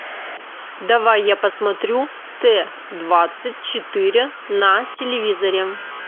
давай я посмотрю т двадцать четыре на телевизоре